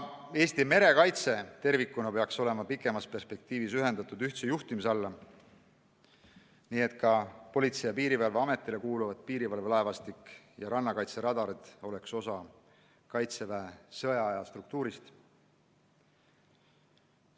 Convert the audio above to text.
Eesti merekaitse tervikuna peaks olema kaugemas perspektiivis ühendatud ühtse juhtimise alla, nii et ka Politsei- ja Piirivalveametile kuuluvad piirivalvelaevastik ja rannakaitseradarid oleks osa Kaitseväe sõjaaja struktuurist.